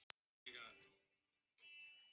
Hvers vegna hefurðu söðlað tvo hesta?